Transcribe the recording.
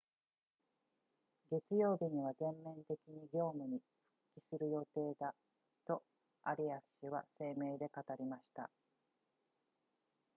月曜日には全面的に業務に復帰する予定だとアリアス氏は声明で語りました